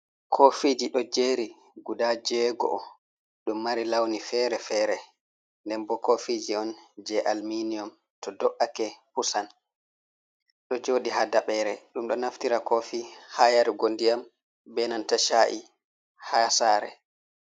Kofiji ɗo jeri guda jewego. Ɗum ɗo mari lawni fere-fere. Nden bo kofiji on je alminium to do’ake pusan. Ɗo joɗi ha daɓere. Ɗum ɗo naftira kofi ha yarugo ndiyam, be nanta sha’i ha sare.